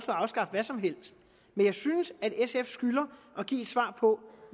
afskaffe hvad som helst men jeg synes at sf skylder at give et svar på